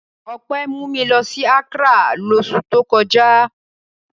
Ọpẹ́ mú mi lọ Accra lóṣù tó kọjá.